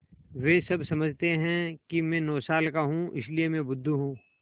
वे सब समझते हैं कि मैं नौ साल का हूँ इसलिए मैं बुद्धू हूँ